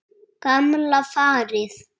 Gamla farið.